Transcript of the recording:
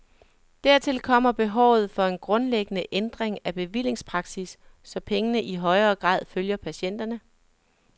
Dertil kommer behovet for en grundlæggende ændring af bevillingspraksis, så pengene i højere grad følger patienterne.